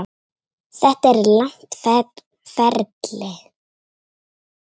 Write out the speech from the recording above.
Þetta er langt ferli.